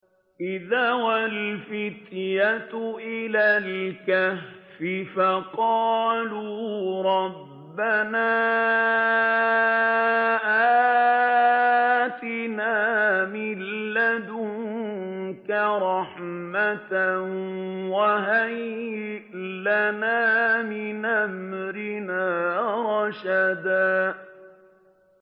إِذْ أَوَى الْفِتْيَةُ إِلَى الْكَهْفِ فَقَالُوا رَبَّنَا آتِنَا مِن لَّدُنكَ رَحْمَةً وَهَيِّئْ لَنَا مِنْ أَمْرِنَا رَشَدًا